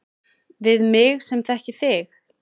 Við mig sem þekki þig.